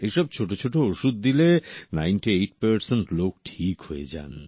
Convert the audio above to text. এইসব ছোট ছোট ওষুধ দিলে ৯৮ লোক ঠিক হয়ে যান